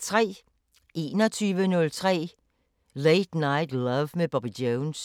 21:03: Late Night Love med Bobby Jones